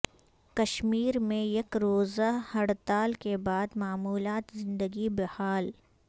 کشمیر میں یک روزہ ہڑتال کے بعد معمولات زندگی بحال